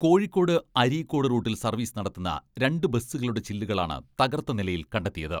കോഴിക്കോട് അരീക്കോട് റൂട്ടിൽ സർവീസ് നടത്തുന്ന രണ്ടു ബസുകളുടെ ചില്ലുകളാണ് തകർത്ത നിലയിൽ കണ്ടെത്തിയത്.